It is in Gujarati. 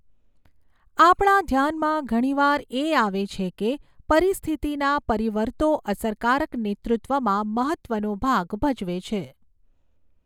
આપણા ધ્યાનમાં ઘણીવાર એ આવે છે કે પરિસ્થિતિના પરિવર્તો અસરકારક નેતૃત્વમાં મહત્ત્વનો ભાગ ભજવે છે.